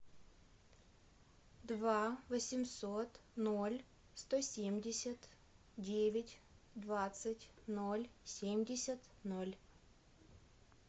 два восемьсот ноль сто семьдесят девять двадцать ноль семьдесят ноль